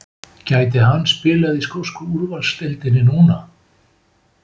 Gæti hann spilað í skosku úrvalsdeildinni núna?